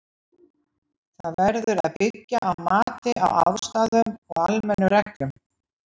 Það verður að byggja á mati á aðstæðum og almennum reglum.